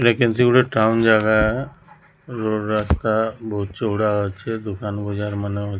ଏରା କେମିତି ଗୋଟେ ଟାଉନ୍ ଜାଗା ରୋଡ଼ ରାସ୍ତା ବୋହୁତ ଚୋଡ଼ା ଅଛି ଦୁକାନ ବଜାର ମାନେ ଅଛି।